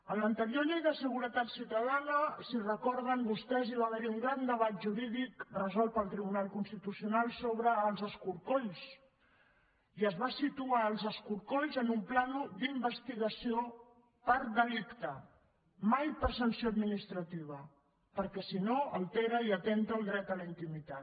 en l’anterior llei de seguretat ciutadana si ho recorden vostès hi va haver un gran debat jurídic resolt pel tribunal constitucional sobre els escorcolls i es van situar els escorcolls en un pla d’investigació per delicte mai per sanció administrativa perquè si no altera i atempta contra el dret a la intimitat